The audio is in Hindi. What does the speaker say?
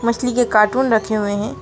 मछली के कार्टून रखे हुए हैं।